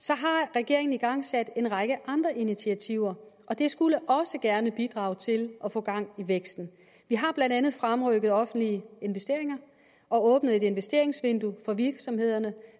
regeringen igangsat en række andre initiativer og det skulle også gerne bidrage til at få gang i væksten vi har blandt andet fremrykket offentlige investeringer og åbnet et investeringsvindue for virksomhederne